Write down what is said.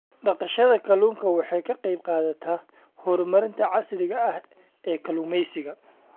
Dhaqashada kalluunka waxay ka qaybqaadataa horumarinta casriga ah ee kalluumeysiga.